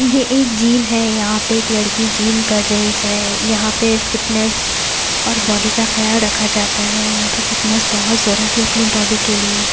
ये एक जीम है यहां पे एक लड़की जिम कर रही है यहां पे फिटनेस और बॉडी का ख्याल रखा जाता है यहां पे फिटनेस बहुत जरूरी है अपनी बॉडी के लिए--